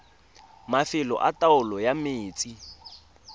mafelo a taolo ya metsi